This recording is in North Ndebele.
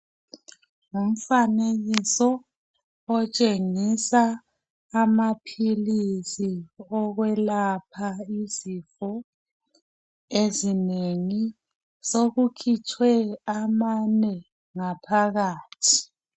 Umfanekiso otshengisa amaphilisi okwelapha izifo ezinengi. Sekukhitshwe amane ngaphakathi.